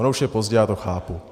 Ono už je pozdě, já to chápu.